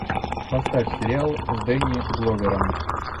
поставь сериал с дэнни гловером